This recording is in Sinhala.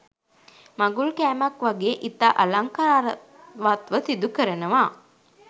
මඟුල් කෑමක් වගේ ඉතා අලංකාරවත්ව සිදු කරනවා.